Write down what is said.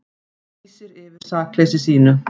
Lýsir yfir sakleysi sínu